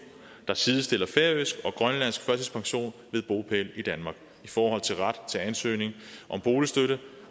der sidestiller færøsk og grønlandsk førtidspension ved bopæl i danmark i forhold til ret til ansøgning om boligstøtte